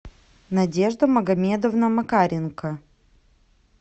надежда магомедовна макаренко